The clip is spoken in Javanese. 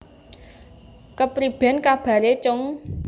Kepriben kabare cung